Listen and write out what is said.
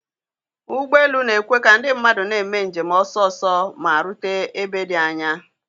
. Ụgbọ elu na-ekwe ka ndị mmadụ na-eme njem ọsọ ọsọ ma rute ebe dị anya